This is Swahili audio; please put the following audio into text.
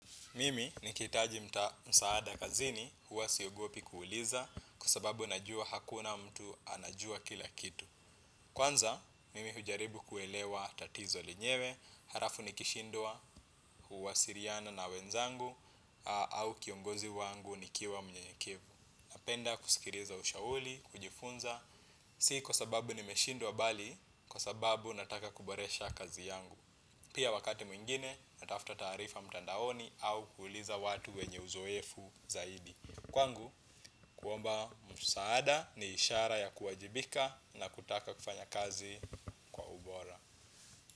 Mimi ni kihitaji msaada kazini huwa siogopi kuuliza kwa sababu najua hakuna mtu anajua kila kitu. Kwanza, mimi hujaribu kuelewa tatizo lenyewe, harafu nikishindwa huwasiliana na wenzangu au kiongozi wangu nikiwa mnyenyekevu. Napenda kusikiliza ushauli, kujifunza, si kwa sababu nimeshindwa bali kwa sababu nataka kuboresha kazi yangu. Pia wakati mwingine na tafuta taarifa mtandaoni au kuliza watu wenye uzoefu zaidi. Kwangu kuomba msaada ni ishara ya kuwajibika na kutaka kufanya kazi kwa ubora.